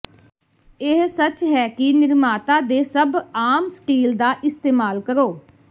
ਇਹ ਸੱਚ ਹੈ ਕਿ ਨਿਰਮਾਤਾ ਦੇ ਸਭ ਆਮ ਸਟੀਲ ਦਾ ਇਸਤੇਮਾਲ ਕਰੋ